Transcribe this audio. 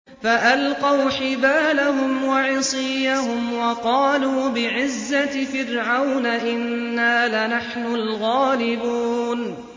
فَأَلْقَوْا حِبَالَهُمْ وَعِصِيَّهُمْ وَقَالُوا بِعِزَّةِ فِرْعَوْنَ إِنَّا لَنَحْنُ الْغَالِبُونَ